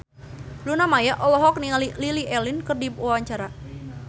Luna Maya olohok ningali Lily Allen keur diwawancara